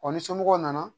ni somɔgɔw nana